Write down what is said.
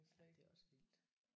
Ja det er også vildt